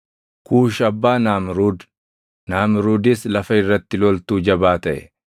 Kuushi abbaa Naamruud; Naamruudis lafa irratti loltuu jabaa taʼe.